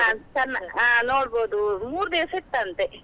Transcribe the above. ಹಾ ನೋಡ್ಬೋದು ಮೂರು ದಿವಸ ಇತ್ತಂತೆ.